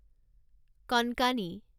Konkani